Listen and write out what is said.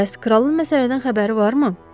Bəs kralın məsələdən xəbəri varmı?